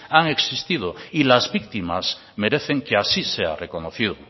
han existido y las victimas merecen que así sea reconocido